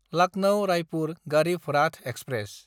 Lucknow-Raipur Garib Rath express